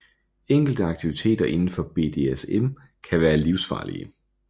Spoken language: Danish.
Enkelte aktiviteter indenfor BDSM kan være livsfarlige